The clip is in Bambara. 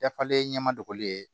Dafalen ɲɛ ma dogoli ye